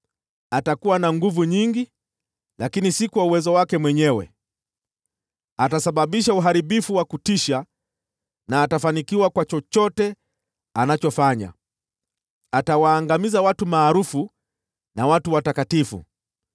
Atakuwa na nguvu nyingi, lakini si kwa uwezo wake mwenyewe. Atasababisha uharibifu wa kutisha, na atafanikiwa kwa chochote anachofanya. Atawaangamiza watu maarufu na watu watakatifu.